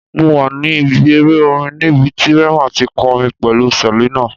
Mo wa ni ibi ere orin nibiti Rema ti kọrin pẹlu Selina